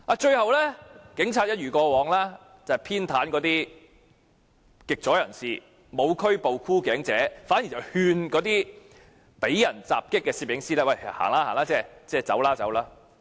最後，警方一如過往，偏袒那些極左人士，不但沒有拘捕"箍頸"者，反而勸諭受襲攝影師離開現場。